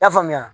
I y'a faamuya